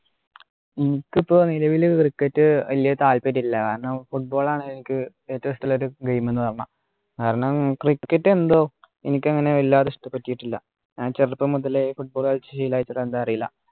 എനിക്കിപ്പോ നിലവില് cricket വല്യ താല്പര്യമില്ല കാരണം football ആണ് എനിക്ക് ഏറ്റവും ഇഷ്ടമുള്ളൊരു game ന്നു പറഞ്ഞാൽ കാരണം cricket എന്തോ എനിക്കങ്ങനെ വല്ലാതെ ഇഷ്ടപ്പെട്ടിട്ടില്ല ആഹ് ചെറുപ്പം മുതലേ football കളിച്ചു ശീലായിട്ടാ എന്താ അറീല